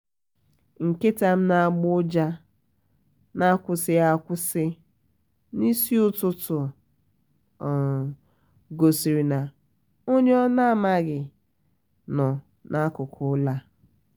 nkịta m na agbọ ụja n'akwụsịghị um akwụsị n'isi ụtụtụ gosiri na onye na um ọ maghị nọ n'akụkụ ụlọ a